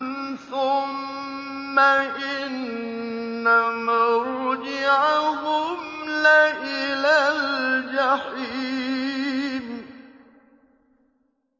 ثُمَّ إِنَّ مَرْجِعَهُمْ لَإِلَى الْجَحِيمِ